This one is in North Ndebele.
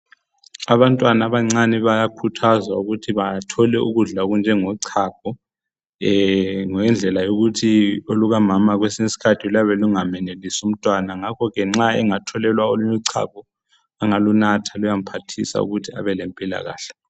Abantwana abancane bayakhuthazwa ukuthi bathole ukudla okunjengo chago .Ngendlela yokuthi oluka mama kwesinye iskhathi luyabe lungamenelisi umntwana .Ngakho ke nxa engatholelwa olunye uchago angalunatha luyamphathisa ukuthi abe lempilakahle .